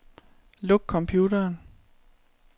Luk computeren.